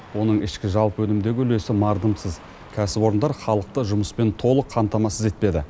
оның ішкі жалпы өнімдегі үлесі мардымсыз кәсіпорындар халықты жұмыспен толық қамтамасыз етпеді